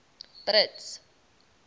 brits